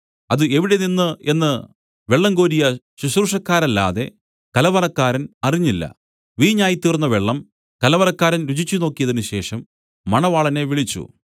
അത് എവിടെനിന്ന് എന്നു വെള്ളം കോരിയ ശുശ്രൂഷക്കാരല്ലാതെ കലവറക്കാരൻ അറിഞ്ഞില്ല വീഞ്ഞായിത്തീർന്ന വെള്ളം കലവറക്കാരൻ രുചിനോക്കിയതിനുശേഷം മണവാളനെ വിളിച്ചു